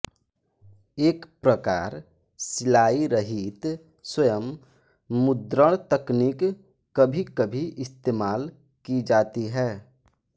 एक प्रकार सिलाइरहित स्वयं मुद्रण तकनीक कभी कभी इस्तेमाल की जाती है